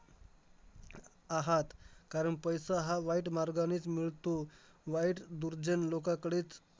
आहात, कारण पैसा हा वाईट मार्गानेच मिळतो. वाईट दुर्जन लोकाकडेच